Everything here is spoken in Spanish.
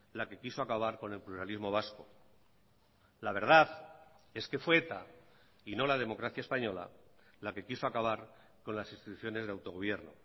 la que quiso acabar con el pluralismo vasco la verdad es que fue eta y no la democracia española la que quiso acabar con las instituciones de autogobierno